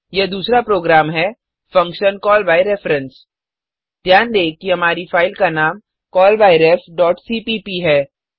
यह दूसरा प्रोग्राम है फंक्शन कॉलबायरफरेंस ध्यान दें कि हमारी फाइल का नाम callbyrefसीपीप है